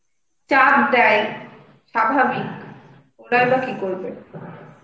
চাপ দেয়. স্বাভাবিক. ওরাই বা কি করবে?